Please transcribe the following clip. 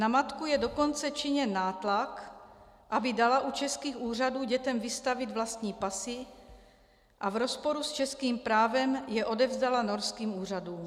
Na matku je dokonce činěn nátlak, aby dala u českých úřadů dětem vystavit vlastní pasy a v rozporu s českým právem je odevzdala norským úřadům.